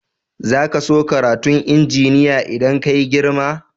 Zaka so karatun injiniya idan ka yi girma?